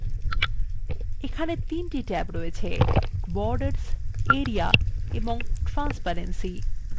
এখানে 3টি ট্যাব আছেborders area এবংtransparency